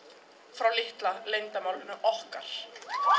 frá litla leyndarmálinu okkar